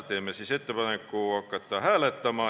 Teeme ettepaneku hakata hääletama.